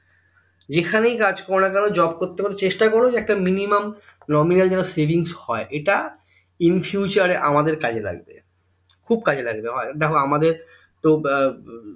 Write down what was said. যেখানেই কাজ করোনা কেন Job করতে করতে চেষ্টা করো যে একটা minimum nominal যেন savings হয় ইটা infuture এ আমাদের কাজে লাগবে খুব কাজে লাগবে দেখো আমাদের তো দেখো